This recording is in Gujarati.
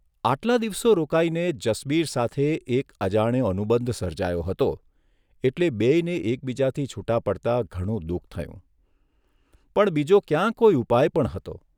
આટલા દિવસો રોકાઇને જસબીર સાથે એક અજાણ્યો અનુબંધ સર્જાયો હતો એટલે બેયને એકબીજાથી છૂટા પડતા ઘણું દુઃખ થયું, પણ બીજો ક્યાં કોઇ ઉપાય પણ હતો?